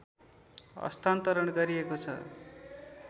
हस्तान्तरण गरिएको छ